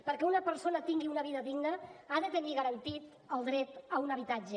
perquè una persona tingui una vida digna ha de tenir garantit el dret a un habitatge